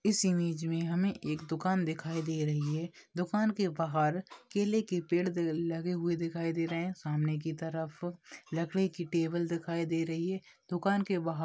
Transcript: इस इमेज मे हमे एक दुकान दिखाई दे रही है दुकान के बहार केले के पेड़ दे लगे हुए दिखाई दे रहे है सामने की तरफ लकडे की टेबल दिखाई दे रही है दुकान के बहार।